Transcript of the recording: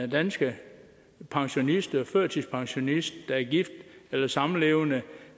danske pensionist eller førtidspensionist der er gift eller samlevende